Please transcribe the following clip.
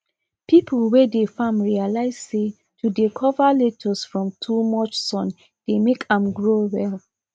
people wey dey farm realize say to dey cover lettuce from too much sun dey make am grow well